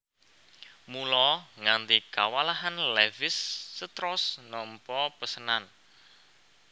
Mula nganti kewalahan Levis strauss nampa pesenan